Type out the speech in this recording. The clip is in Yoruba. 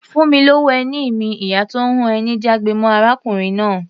"Fún mi lówó ẹni mi!", ìyá tó ń hun ẹni jágbe mọ́ arákùnrin náà.